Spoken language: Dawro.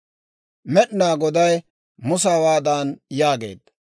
Med'inaa Goday Musa hawaadan yaageedda,